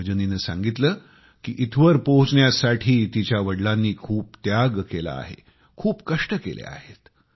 रजनीने सांगितलं कि इथवर पोहोचण्यासाठी तिच्या वडिलांनी खूप त्याग केला आहे खूप कष्ट केले आहेत